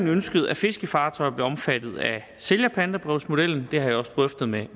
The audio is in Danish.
ønsket at fiskefartøjer bliver omfattet af sælgerpantebrevsmodellen det har jeg også drøftet med